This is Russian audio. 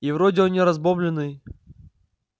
и вроде он не разбомблённый